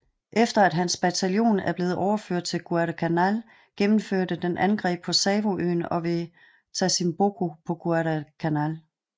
Efter at hans bataljon var blevet overført til Guadalcanal gennemførte den angreb på Savoøen og ved Tasimboko på Guadalcanal